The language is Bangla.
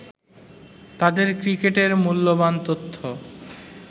তাদের ক্রিকেটের মূল্যবান তথ্য